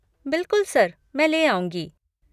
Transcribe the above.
बिलकुल सर! मैं ले आऊँगी।